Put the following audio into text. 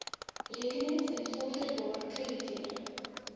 rekenings invorderbaar krediteure